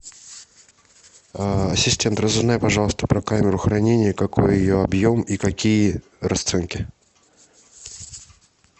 ассистент разузнай пожалуйста про камеру хранения какой ее объем и какие расценки